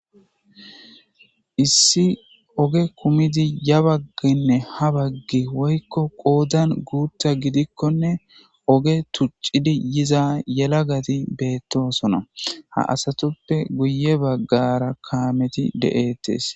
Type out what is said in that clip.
issi oge kumidi ya bagginne ha baggi woykko qoodan guutta gidikkonne oge tuccidi yiza yelagati beettosona ha asatoppe guye baggara kaameti de'etes.